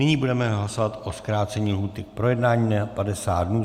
Nyní budeme hlasovat o zkrácení lhůty k projednání na 50 dnů.